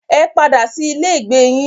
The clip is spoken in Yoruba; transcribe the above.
Ẹ padà sí ilé ìgbé yín.